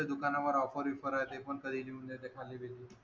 दुकानावर ऑफर बीफर आहे ते खाली लिहून देतात खाली